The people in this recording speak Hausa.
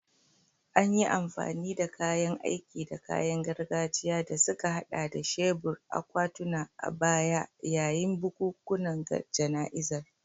An yi amfani da kayan aiki da kayan gargajiya, da suka haɗa da shebur, akwatuna, a baya yayin bukukuwan jana'izar